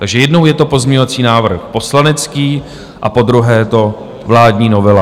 Takže jednou je to pozměňovací návrh poslanecký a podruhé je to vládní novela.